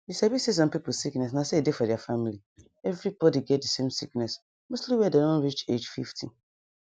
you sabi say some pipu sickness na so e dey for deir family everybody get dey same sickness mostly wen dem reach age fifty.